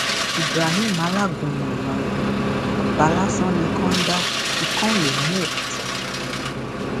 ibrahim alágúnmu ìlọrin àbá lásán ni ikán ń da ikán ó lè mú òkúta